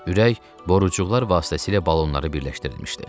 Ürək borucuqlar vasitəsilə balonları birləşdirilmişdi.